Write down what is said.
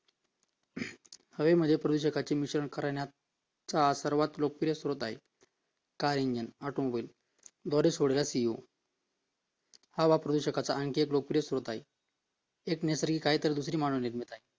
हवेमध्ये प्रदूषके मिसळवणूक करण्याचा चा सर्वात लोकप्रिय स्रोत आहे car engine, auto mobile द्वारे सोडण्यात येईल हवा प्रदूषकाचा आणखी एक प्रमुख स्रोत आहे